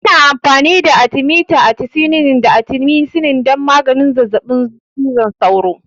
Ana amfani da Atimita, atisunet, da atimisinin don maganin zazzaɓin cizon sauro.